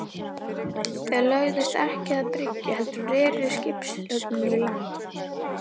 Þau lögðust ekki að bryggju heldur reri skipshöfnin í land.